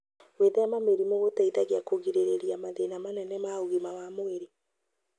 Gwĩthema mĩrimũ gũteithagia kũgirĩrĩria mathĩna manene ma ũgima wa mwĩrĩ